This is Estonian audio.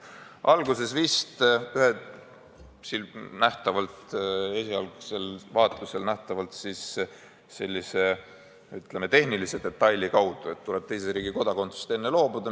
Alguses toimus see esialgsel vaatlusel vist sellise tehnilise detaili kaudu, et tuleb enne teise riigi kodakondsusest loobuda.